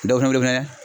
Dɔ fɛnɛ wele fɛnɛ